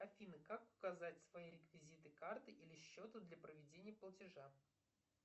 афина как указать свои реквизиты карты или счета для проведения платежа